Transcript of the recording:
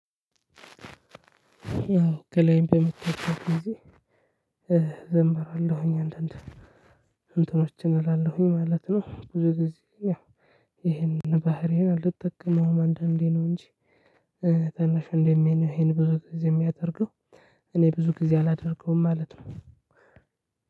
አዎ ከላይም በመታቻት ጊዜ ዘምራለሁኝ አንዳንድ እንትኖችን እላለሁኝ ማለት ነው። ብዙ ጊዜ ያው ይሄንን ባህርዬን አልጠቅመውም አንዳንዴ ነው እንጂ። ታናሽ ወንድሜ ነው ይሄን ብዙ ጊዜ የሚያደርገው። እኔ ብዙ ጊዜ አላደርገውም ማለት ነው።